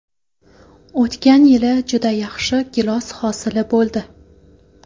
O‘tgan yili juda yaxshi gilos hosili bo‘ldi.